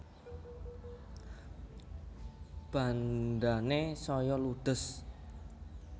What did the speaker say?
Bandhane saya ludhes